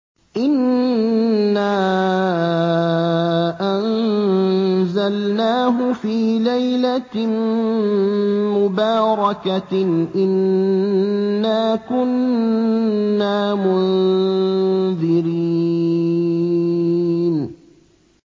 إِنَّا أَنزَلْنَاهُ فِي لَيْلَةٍ مُّبَارَكَةٍ ۚ إِنَّا كُنَّا مُنذِرِينَ